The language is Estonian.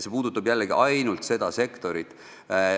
See puudutab jällegi ainult seda sektorit.